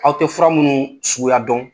Aw tɛ fura minnu suguya dɔn.